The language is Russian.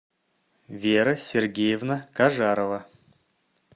вера сергеевна кажарова